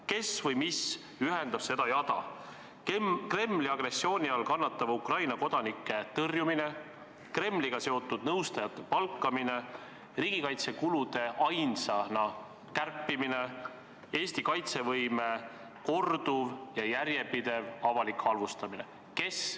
Kes või mis ühendab seda jada: Kremli agressiooni all kannatava Ukraina kodanike tõrjumine, Kremliga seotud nõustajate palkamine, ainsana riigikaitsekulude kärpimine, Eesti kaitsevõime korduv ja järjepidev avalik halvustamine?